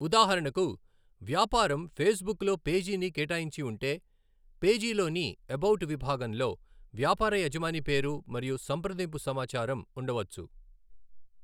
ఉదాహరణకు, వ్యాపారం ఫేస్బుక్ లో పేజీని కేటాయించి ఉంటే, పేజీలోని ఎబౌట్ విభాగంలో వ్యాపార యజమాని పేరు మరియు సంప్రదింపు సమాచారం ఉండవచ్చు.